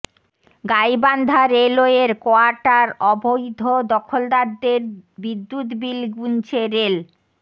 গাইবান্ধা রেলওয়ের কোয়ার্টার অবৈধ দখলদারদের বিদ্যুৎ বিল গুনছে রেল